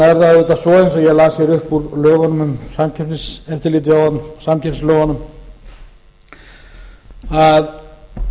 auðvitað svo eins og ég las hér upp úr lögunum um samkeppniseftirlitið samkeppnislögunum að